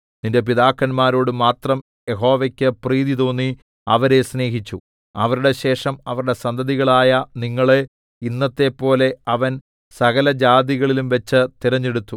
നിന്റെ പിതാക്കന്മാരോട് മാത്രം യഹോവക്ക് പ്രീതി തോന്നി അവരെ സ്നേഹിച്ചു അവരുടെ ശേഷം അവരുടെ സന്തതികളായ നിങ്ങളെ ഇന്നത്തെപ്പോലെ അവൻ സകലജാതികളിലുംവച്ച് തിരഞ്ഞെടുത്തു